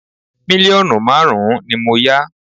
Mílíọ̀nù márùn-ún ni mo yá